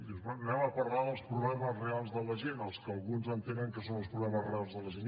dius bé anem a parlar dels problemes reals de la gent dels que alguns entenen que són els problemes reals de la gent